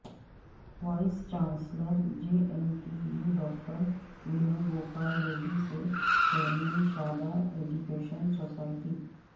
voice chancellor J N T U doctor Venu Gopal Reddy سے chairman Shadan education society